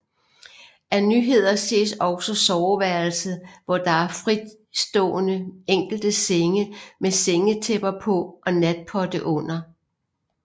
Af nyheder ses også soveværelset hvor der er fristående enkelte senge med sengetæpper på og natpotte under